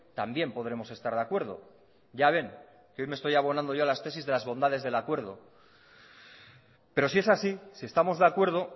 también podremos estar de acuerdo ya ven que hoy me estoy abonando yo a las tesis de las bondades del acuerdo pero si es así si estamos de acuerdo